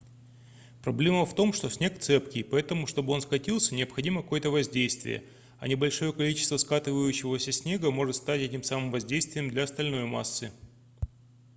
проблема в том что снег цепкий поэтому чтобы он скатился необходимо какое-то воздействие а небольшое количество скатывающегося снега может стать этим самым воздействием для остальной массы